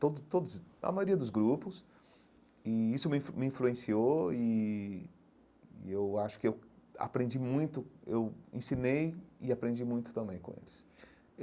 Todo todos a maioria dos grupos, e isso me influ me influenciou e e eu acho que eu aprendi muito, eu ensinei e aprendi muito também com eles.